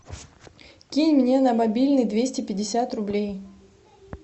кинь мне на мобильный двести пятьдесят рублей